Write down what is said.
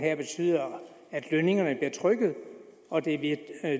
at når lønningerne bliver trykket og der bliver en